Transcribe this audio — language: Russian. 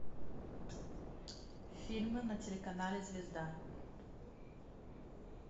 фильмы на телеканале звезда